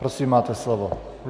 Prosím, máte slovo.